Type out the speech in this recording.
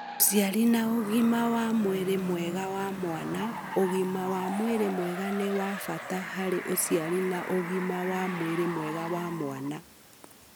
ũciari na ũgima wa mwĩrĩ mwega wa mwana: ũgima wa mwĩrĩ mwega nĩ wa bata harĩ ũciari na ũgima wa mwĩrĩ mwega wa mwana.